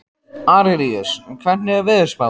Arilíus, hvernig er veðurspáin?